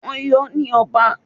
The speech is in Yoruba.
Wọ́n yọ ọ́ ní ọba.